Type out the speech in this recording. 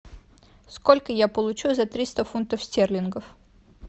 сколько я получу за триста фунтов стерлингов